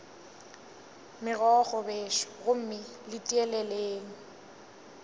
megokgo bešo gomme le tieleleng